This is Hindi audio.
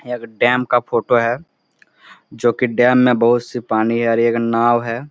यह एक डैम का फोटो है जो की डैम में बहुत से पानी आ रही है एक नाव है।